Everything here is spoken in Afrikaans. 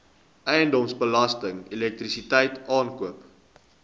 eiendomsbelasting elektrisiteit aankope